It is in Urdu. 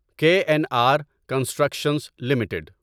کے این آر کنسٹرکشنز لمیٹڈ